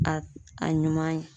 A a ɲuman ye